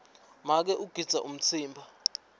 make ugidza umtsimba